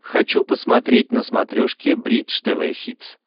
хочу посмотреть на смотрешке бридж тв хитс